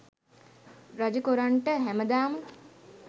රජ කොරන්ට හැමදාම